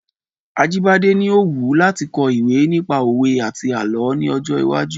Ajíbádẹ́ ni ó wù láti kọ ìwé nípa òwe àti àlọ́ ní ọjọ́ iwájú.